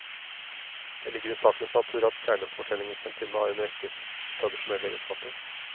Det ligger i sakens natur at kjærlighetshetsfortellingens heltinne har en rekke tradisjonelle egenskaper.